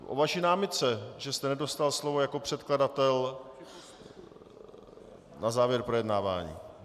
O vaší námitce, že jste nedostal slovo jako předkladatel na závěr projednávání.